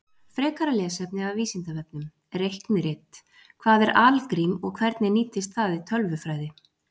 Frekara lesefni af Vísindavefnum: Reiknirit Hvað er algrím og hvernig nýtist það í tölvufræði?